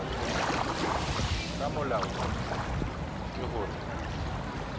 ka molao ona ke hore